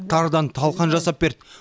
тарыдан талқан жасап берді